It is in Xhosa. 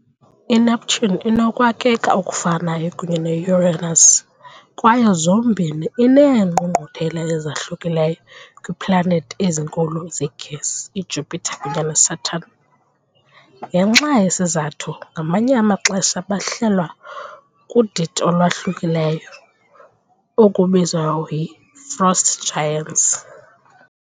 I-Neptune inokwakheka okufanayo kunye ne-Uranus kwaye zombini ineengqungquthela ezahlukileyo kwiiplanethi ezinkulu zegesi iJupiter kunye neSaturn . Ngenxa yesi sizathu ngamanye amaxesha bahlelwa kudidi olwahlukileyo, okubizwa ngokuba yi "frost giants ".